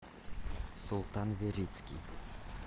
султан верицкий